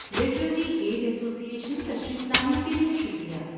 Literary aid association تشریف لانے کے لیے شکریہ۔